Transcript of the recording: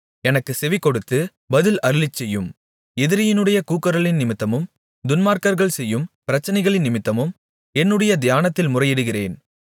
எனக்குச் செவிகொடுத்து பதில் அருளிச்செய்யும் எதிரியினுடைய கூக்குரலினிமித்தமும் துன்மார்க்கர்கள் செய்யும் பிரச்சனைகளினிமித்தமும் என்னுடைய தியானத்தில் முறையிடுகிறேன்